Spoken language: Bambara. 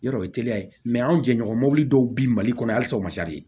Yɔrɔ o ye teliya ye anw jɛɲɔgɔn dɔw bi mali kɔnɔ yan halisa o ma